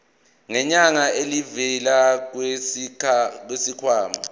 ngenyanga elivela kwisikhwama